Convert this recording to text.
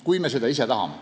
Kui me seda ise tahame.